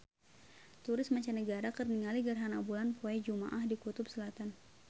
Turis mancanagara keur ningali gerhana bulan poe Jumaah di Kutub Selatan